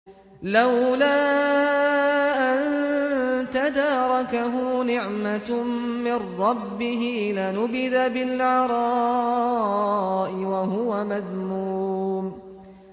لَّوْلَا أَن تَدَارَكَهُ نِعْمَةٌ مِّن رَّبِّهِ لَنُبِذَ بِالْعَرَاءِ وَهُوَ مَذْمُومٌ